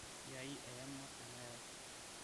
kiai eyama enakerai